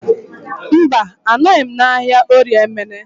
Mba, anọghị m n'ahịa Orie Emene